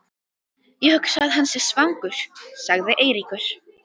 Ég hugsa að hann sé svangur sagði Eiríkur.